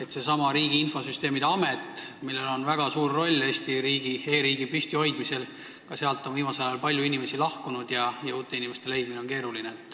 Ka sellestsamast Riigi Infosüsteemi Ametist, millel on väga suur roll Eesti e-riigi püstihoidmisel, on viimasel ajal palju inimesi lahkunud ja uute leidmine on keeruline.